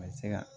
A bɛ se ka